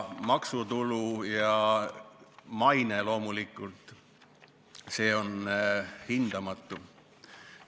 Maksutulu ja maine loomulikult – see on hindamatu.